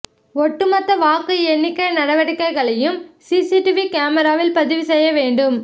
ஒட்டு மொத்த வாக்கு எண்ணிக்கை நடவடிக்கைகளையும் சிசிடிவி கேமராவில் பதிவு செய்ய வேண்டும்